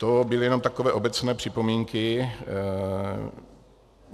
To byly jenom takové obecné připomínky.